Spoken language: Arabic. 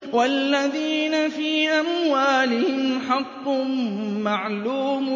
وَالَّذِينَ فِي أَمْوَالِهِمْ حَقٌّ مَّعْلُومٌ